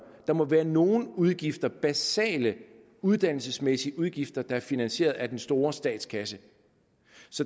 der må være nogle udgifter basale uddannelsesmæssige udgifter der er finansieret af den store statskasse